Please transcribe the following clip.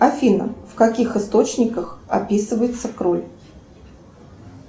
афина в каких источниках описывается кровь